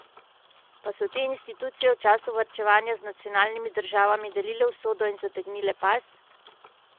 Pa so te institucije v času varčevanja z nacionalnimi državami delile usodo in zategnile pas?